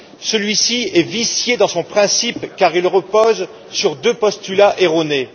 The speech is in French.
Ce pacte est vicié dans son principe, car il repose sur deux postulats erronés.